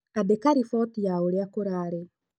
Andĩka riboti ya ũrĩa kũrarĩ